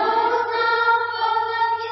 Vande Mataram